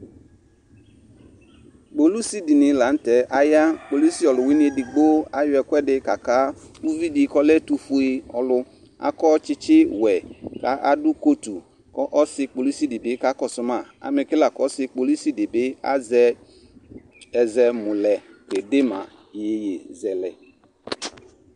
Kpolusi dɩnɩ la nʋtɛ aya:kpolusi ɔlʋwɩnɩ edigbo ayɔ ɛkʋɛdɩ ka ka ividɩ k'ɔlɛ ɛtʋfue ɔlʋ ; akɔ tsitsiwɛ ka adʋ kotu, k'ɔ ɔsɩ kpolusidɩ bɩ ka kɔsʋ ma ; amɛke la ɔsɩ kpolusidɩ bɩ azɛ ɛzɛmʋlɛ kede ma iyeyezɛlɛ